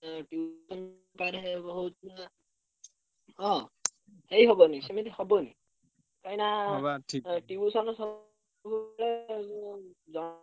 ଏ tuition ହଁ। ହବନି ସେମିତି ହବନି କାହିଁକିନା tuition ସବୁ ବେଳେ ଉଁ ।